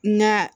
Na